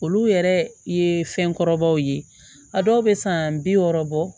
Olu yɛrɛ ye fɛn kɔrɔbaw ye a dɔw bɛ san bi wɔɔrɔ bɔ